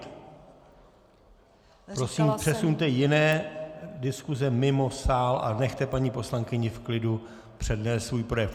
Prosím, přesuňte jiné diskuse mimo sál a nechte paní poslankyni v klidu přednést svůj projev.